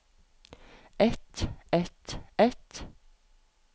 et et et